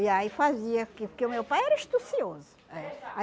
E aí fazia, porque porque o meu pai era astucioso. É